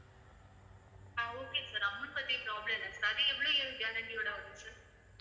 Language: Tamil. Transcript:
ஆஹ் okay sir amount பத்தி problem இல்ல sir அது எவ்வளவு year guarantee யோட வரும் sir